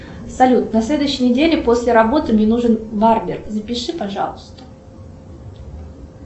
салют на следующей неделе после работы мне нужен барбер запиши пожалуйста